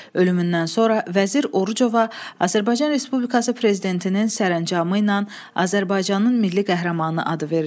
Ölümündən sonra Vəzir Orucova Azərbaycan Respublikası Prezidentinin sərəncamı ilə Azərbaycanın Milli Qəhrəmanı adı verilib.